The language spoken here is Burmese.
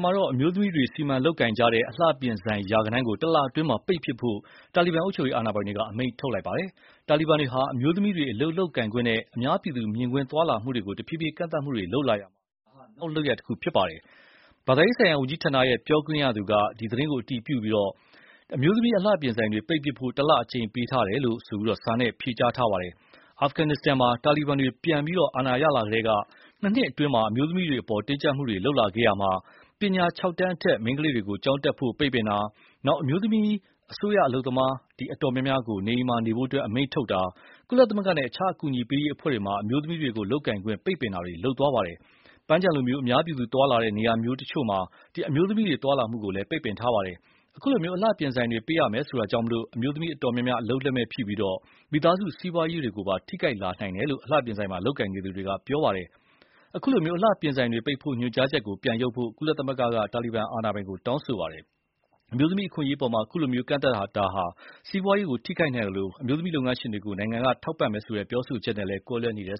မှာအမျိုးသမီးတွေစီမံလုပ်ကိုင်ကြတဲ့ အလှပြင်ဆိုင် ရာဂဏန်းကို တလအတွင်း ပိတ်ပစ်ဖို့ တာလီဘန်အုပ်ချုပ်ရေးအာဏာပိုင်တွေက အမိန့်ထုတ်လိုက်ပါတယ်။ တာလီဘန်တွေဟာ အမျိုးသမီးတွေ အလုပ်လုပ်ကိုင်ခွင့်နဲ့ အများပြည်သူမြင်ကွင်းသွားလာမှုတွေကို တဖြေးဖြေးကန့်သတ်လာရာမှာ ဒါနောက်လုပ်ရပ်တခုဖြစ်ပါတယ်။ ဘာသာရေးဆိုင်ရာဝန်ကြီးဌာန ပြောခွင့်ရသူ Mohammad Sadiq Akif က ဒီသတင်းကို အတည်ပြုပြီး၊ အမျိုးသမီးအလှပြင်ဆိုင်တွေပိတ်ပစ်ဖို့ တလအချိန်ပေးထားတယ်လို့ စာနဲ့ ပြောဆိုပါတယ်။ အာဖဂန်မှာ တာလီဘန်တွ ပြန်ပြီး အာဏာရလာကတည်းက နှစ်နှစ်အတွင်း အမျိုးသမီးတွေအပေါ် တင်းကြပ် မှုတွေ လုပ်လာခဲ့ရာမှာ ပညာ ၆တန်းအထက် မိန်းကလေးတွေကို ကျောင်းတတ်ဖို့ ပိတ်ပင်တာ၊ အမျိုးသမီးအစိုးရဝန်ထမ်း အတော်များများကို နေအိမ်မှာ နေဖို့ အမိန့်ထုတ်တာ၊ ကုလသမဂ္ဂနဲ့ အခြားအကူအညီပေးရေးအဖွဲ့တွေမှာ အမျိုးသမီးတွေလုပ်ကိုင်ခွင့်ပိတ်ပင်တာတွေ လုပ်ခဲ့ပါတယ်။ ပန်းခြံလိုမျိုး အများပြည်သူသွားလာတဲ့နေရာတချို့မှာ အမျိုးသမီးတွေ သွားလာမှုကိုလည်း ပိတ်ပင် ထားပါတယ်။ အခုလို အလှပြင်ဆိုင်တွေ ပိတ်ရမယ်ဆိုတာကြောင့် အမျိုးသမီးအတော်များများ အလုပ်လုပ်မဲ့ဖြစ်ပြီး မိသားစုစီးပွားရေးတွေပါ ထိခိုက်လာလိမ့်မယ်လို့ အလှပြင်ဆိုင်မှာ လုပ်ကိုင်နေသူတွေက ပြောပါတယ်။ အခုလို အလှပြင်ဆိုင်တွေပိတ်ဖို့ ညွှန်ကြားချက်ကို ပြန်ရုပ်ဖို့ ကုလသမဂ္ဂက တာလီဘန်အာဏာပိုင်ကို တောင်းဆိုပါတယ်။ အမျိုးသမီးအခွင့်အရေးအပေါ် အခုလို ကန့်သတ်လိုက်မှုဟာ စီးပွားရေးကိုထိခိုက်သက်ရောက်နိုင်သလို၊ အမျိုးသမီးလုပ်ငန်းရှင်တွေကို နိုင်ငံတော်က ထောက်ပံ့ကူညီမယ်ဆိုတဲ့ ပြောဆိုချက်နဲ့လည်း ကွဲလွဲနေတယ်